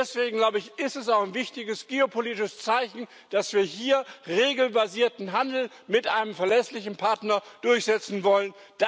Deswegen, glaube ich, ist es auch ein wichtiges geopolitisches Zeichen, dass wir hier regelbasierten Handel mit einem verlässlichen Partner durchsetzen wollen.